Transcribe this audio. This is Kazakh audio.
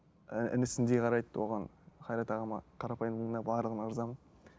ііі інісіндей қарайды оған қайрат ағама қарапайымдылығына барлығына ырзамын